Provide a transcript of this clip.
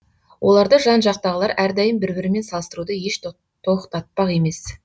оларды жан жақтағылар әрдайым бір бірімен салыстыруды еш тоқтатпақ емес